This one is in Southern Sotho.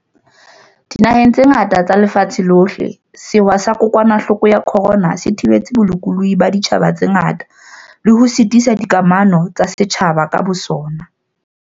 Dinaheng tse ngata tsa lefatshe lohle, sewa sa kokwanahloko ya corona se thibetse bolokolohi ba ditjhaba tse ngata le ho sitisa dikamano tsa setjhaba ka bosona.